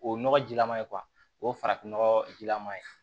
O nɔgɔjilaman ye o ye farafin nɔgɔ jilaman ye